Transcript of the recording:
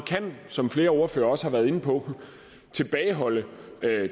som flere ordførere også har været inde på kan tilbageholde